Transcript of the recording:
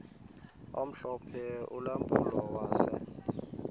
omhlophe ulampulo wase